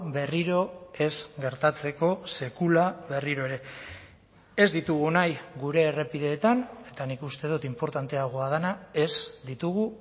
berriro ez gertatzeko sekula berriro ere ez ditugu nahi gure errepideetan eta nik uste dut inportanteagoa dena ez ditugu